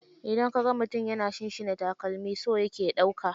Idan ka ga mutum yana shinshina takalami, so yake ya ɗauka.